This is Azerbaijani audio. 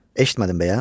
Eşitmədin bəyəm?